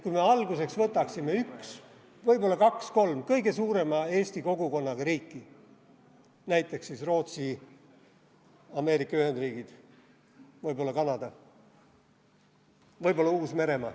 Kui me alguseks võtaksime üks, võib-olla kaks-kolm kõige suurema eesti kogukonnaga riiki, näiteks siis Rootsi, Ameerika Ühendriigid, võib-olla Kanada, võib-olla Uus-Meremaa.